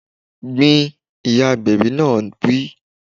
Gbin! Ìyá agbẹ̀bi náà wí